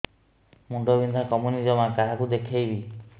ମୁଣ୍ଡ ବିନ୍ଧା କମୁନି ଜମା କାହାକୁ ଦେଖେଇବି